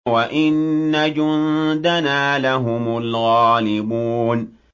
وَإِنَّ جُندَنَا لَهُمُ الْغَالِبُونَ